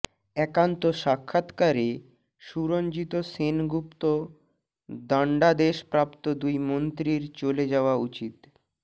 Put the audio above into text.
একান্ত সাক্ষাৎকারে সুরঞ্জিত সেনগুপ্তদণ্ডাদেশপ্রাপ্ত দুই মন্ত্রীর চলে যাওয়া উচিত